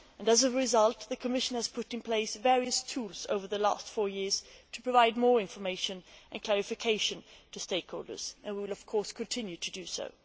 As a result, the Commission has put in place various tools over the last four years to provide more information and clarification to stakeholders, and we will of course continue to do so.